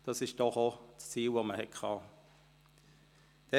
Das ist doch das Ziel, das man hatte.